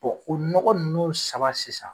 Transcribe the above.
o n nɔgɔ ninnu saba sisan